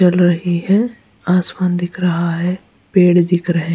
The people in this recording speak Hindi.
जल रही है आसमान दिख रहा है पेड़ दिख रहे हैं।